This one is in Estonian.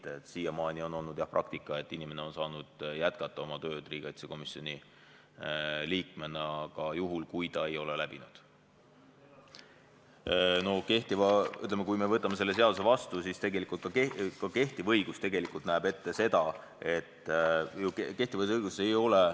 Nii et jah, siiamaani on olnud praktika, et inimene on saanud jätkata oma tööd riigikaitsekomisjoni liikmena ka juhul, kui ta ei ole kontrolli läbinud.